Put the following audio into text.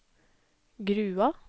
Grua